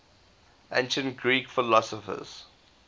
ancient greek philosophers